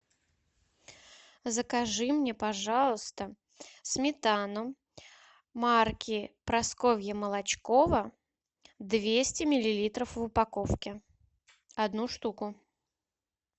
закажи мне пожалуйста сметану марки прасковья молочкова двести миллилитров в упаковке одну штуку